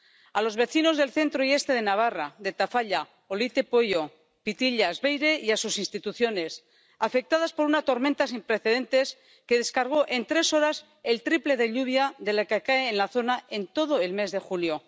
a los vecinos del centro y este de Navarra, de Tafalla, Olite, Pueyo, Pitillas, Beire, y a sus instituciones, afectadas por una tormenta sin precedentes que descargó en tres horas el triple de lluvia de la que cae en la zona en todo el mes de julio.